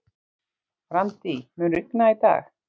Randí, mun rigna í dag?